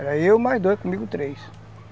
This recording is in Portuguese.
Era eu, mais dois, comigo três.